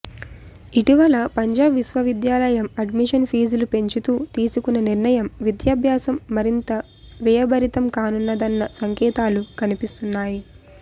ఇటీవల పంజాబ్ విశ్వవిద్యాలయం అడ్మిషన్ ఫీజులు పెంచుతూ తీసుకున్న నిర్ణయం విద్యాభ్యాసం మరింత వ్యయభరితం కానున్నదన్న సంకేతాలు కనిపిస్తున్నాయి